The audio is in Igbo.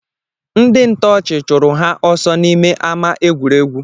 Ndị ị ntọọchị chụrụ ha ọsọ n’ime ama egwuregwu